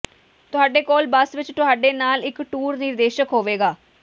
ਤੁਹਾਡੇ ਕੋਲ ਬੱਸ ਵਿਚ ਤੁਹਾਡੇ ਨਾਲ ਇਕ ਟੂਰ ਨਿਰਦੇਸ਼ਕ ਹੋਵੇਗਾ